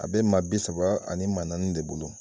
A be maa bi saba ani maa naani de bolo.